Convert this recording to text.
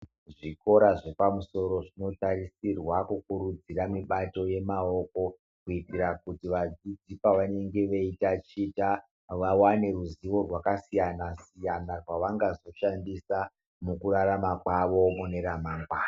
Zvikora zvepamusoro zvinotarisirwa kukurudzira mibato yemaoko kuitira kuti vadzidzi pavanenge vei taticha vawane ruzivo rwakasiyana siyana rwavangazoshandisa mukurarama kwavo mune ramangwana.